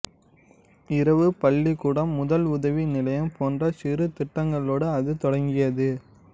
இரவு பள்ளிக்கூடம் முதல் உதவி நிலையம் போன்ற சிறு திட்டங்களோடு அது தொடங்கியது